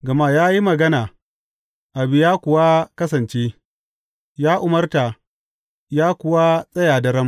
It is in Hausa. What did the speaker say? Gama ya yi magana, abu ya kuwa kasance; ya umarta, ya kuwa tsaya daram.